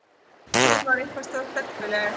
Hún var eitthvað svo stelpuleg.